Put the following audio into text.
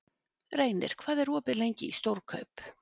Reynir, hvað er opið lengi í Stórkaup?